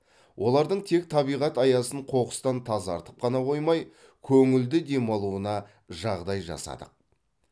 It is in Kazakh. олардың тек табиғат аясын қоқыстан тазартып қана қоймай көңілді демалуына жағдай жасадық